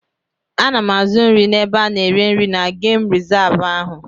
Ana m azụ nri n'ebe ana ere nri na gemụ rizavụ ahụ.